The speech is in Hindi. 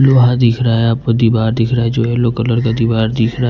लोहा दिख रहा है आपको दीवार दिख रहा है जो येलो कलर का दीवार दिख रहा--